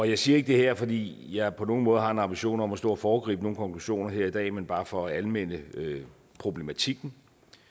jeg siger ikke det her fordi jeg på nogen måde har en ambition om at stå og foregribe nogen konklusioner her i dag men bare for at anmelde problematikken